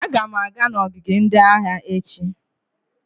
Aga m aga n'ogige ndị agha echi